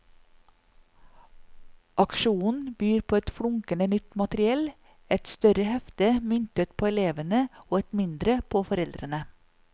Aksjonen byr på flunkende nytt materiell, et større hefte myntet på elevene og et mindre på foreldrene.